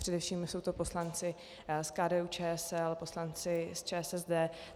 Především jsou to poslanci z KDU-ČSL, poslanci z ČSSD.